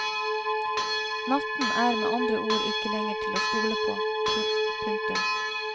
Natten er med andre ord ikke lenger til å stole på. punktum